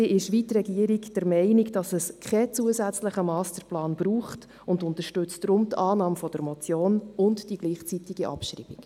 Wie die Regierung ist auch sie der Meinung, dass es keinen zusätzlichen Masterplan braucht, und unterstützt deshalb die Annahme der Motion und deren gleichzeitige Abschreibung.